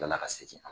Tilala ka segin an ma